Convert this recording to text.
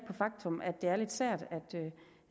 faktum at det er lidt sært